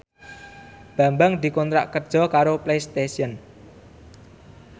Bambang dikontrak kerja karo Playstation